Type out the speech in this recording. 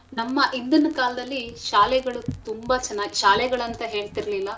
ನಮ್ಮ ಹಿಂದಿನ ಕಾಲದಲ್ಲಿ ಶಾಲೆಗಳು ತುಂಬಾ ಚೆನ್ನಾಗ್ ಶಾಲೆಗಳಂತ ಹೇಳ್ತಿರ್ಲಿಲ್ಲ.